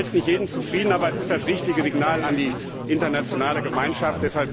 Vielleicht stellt das nicht jeden zufrieden, aber es ist das richtige Signal an die internationale Gemeinschaft.